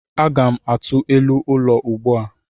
Aga m atụ elu ụlọ ugbu a.